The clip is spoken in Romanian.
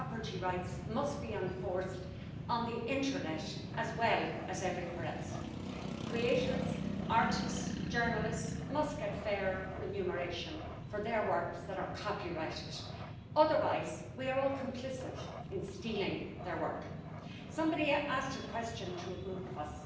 Altfel, nu putem combate eficient finanțarea terorismului, nici spălarea banilor, nici crima organizată, iar cooperarea vamală trebuie să fie reală și rapidă, pentru a împiedica infractorii să